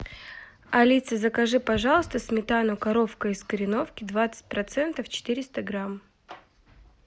алиса закажи пожалуйста сметану коровка из кореновки двадцать процентов четыреста грамм